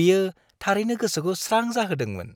बियो थारैनो गोसोखौ स्रां जाहोदोंमोन।